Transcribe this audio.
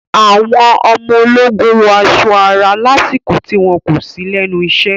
Àwọn ọmọ ológun wọ aṣọ ara lásìkò tí wọn kò sí lẹ́nu isẹ́.